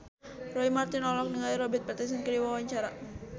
Roy Marten olohok ningali Robert Pattinson keur diwawancara